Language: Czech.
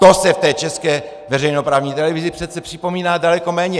To se v té české veřejnoprávní televizi přece připomíná daleko méně.